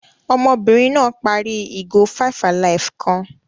Ọmọbìnrin náà parí ìgò five-alive kan.